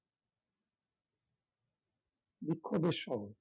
বিক্ষোবের শহর